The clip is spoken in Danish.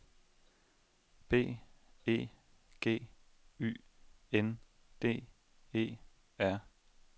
B E G Y N D E R